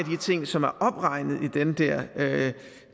ting som er opregnet i den der